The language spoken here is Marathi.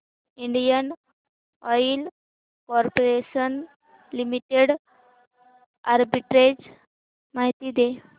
Indian oil corporation limited arbitrage माहिती दे